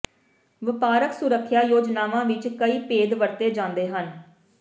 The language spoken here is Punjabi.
ਵਪਾਰਕ ਸੁਰੱਖਿਆ ਯੋਜਨਾਵਾਂ ਵਿੱਚ ਕਈ ਭੇਦ ਵਰਤੇ ਜਾਂਦੇ ਹਨ